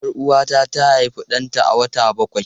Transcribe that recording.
Yar Uwata ta haifi danta a wata bakwai.